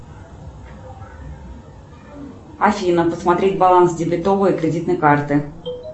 афина посмотреть баланс дебетовой и кредитной карты